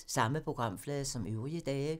Samme programflade som øvrige dage